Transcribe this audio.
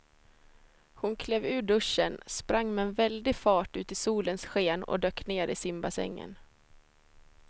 Hon klev ur duschen, sprang med väldig fart ut i solens sken och dök ner i simbassängen.